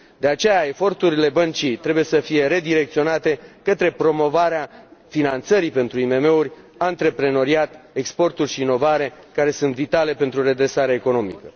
De aceea, eforturile băncii trebuie să fie redirecționate către promovarea finanțării pentru IMM uri, antreprenoriat, exporturi și inovare, care sunt vitale pentru redresarea economică.